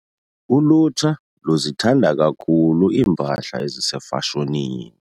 Ulutsha luzithanda kakhulu iimpahla ezisefashonini.